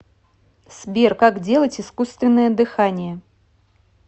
сбер как делать искусственное дыхание